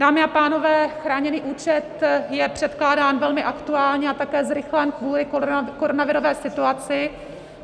Dámy a pánové, chráněný účet je předkládán velmi aktuálně a také zrychlen kvůli koronavirové situaci.